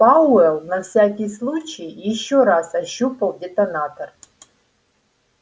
пауэлл на всякий случай ещё раз ощупал детонатор